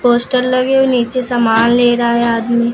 Poster लगे हुए नीचे सामान ले रहा है आदमी।